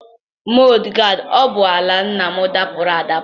Mọd gaadi ụgbọala nna m dapuru adapu.